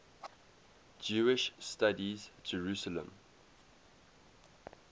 jewish studies jerusalem